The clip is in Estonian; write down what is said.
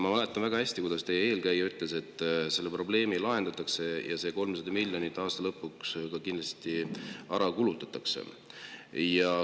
Ma mäletan väga hästi, kuidas teie eelkäija ütles, et see probleem lahendatakse ja see 300 miljonit eurot aasta lõpuks ka kindlasti ära kulutatakse.